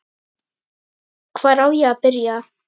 Hvar á ég að byrja!